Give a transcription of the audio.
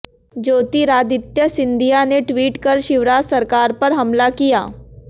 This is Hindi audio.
ज्योतिरादित्य सिंधिया ने ट्वीट कर शिवराज सरकार पर हमला किया